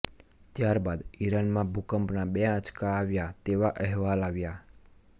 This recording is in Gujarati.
ત્યારબાદ ઈરાનમાં ભૂકંપના બે આંચકા આવ્યાં તેવા અહેવાલ આવ્યાં